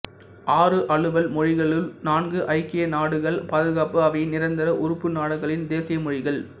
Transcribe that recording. ஆறு அலுவல் மொழிகளுள் நான்கு ஐக்கிய நாடுகள் பாதுகாப்பு அவையின் நிரந்தர உறுப்பு நாடுகளின் தேசிய மொழிகள்